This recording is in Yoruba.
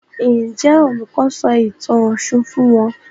Njé Olùkó sọ ìtàn òshun fún wón?